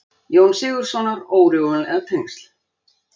Jóns Sigurðssonar órjúfanlega tengt.